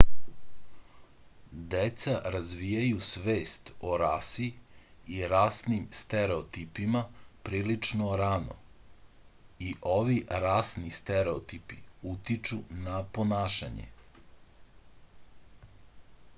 deca razvijaju svest o rasi i rasnim stereotipima prilično rano i ovi rasni stereotipi utiču na ponašanje